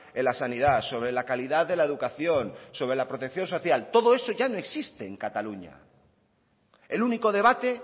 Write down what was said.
en la sanidad sobre la calidad de la educación sobre la protección social todo eso ya no existe en cataluña el único debate